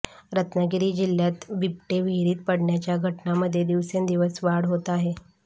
रत्नागिरी जिल्ह्यातबिबटे विहिरीत पडण्याच्या घटनांमध्ये दिवसेंदिवस वाढ होत आहे